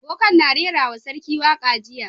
Boka'n na rera ma sarki waka jiya.